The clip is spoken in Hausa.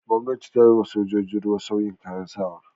Gwamnati ta yi wa sojojin ruwa sauyin kayan sawa.